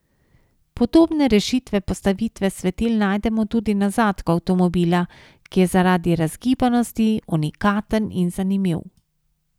Podobne rešitve postavitve svetil najdemo tudi na zadku avtomobila, ki je zaradi razgibanosti unikaten in zanimiv.